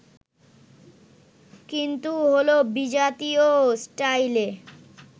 কিন্তু হলো বিজাতীয় স্টাইলে